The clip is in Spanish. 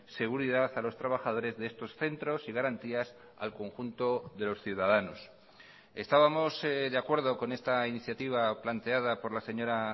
seguridad a los trabajadores de estos centros y garantías al conjunto de los ciudadanos estábamos de acuerdo con esta iniciativa planteada por la señora